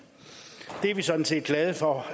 det er vi sådan set glade for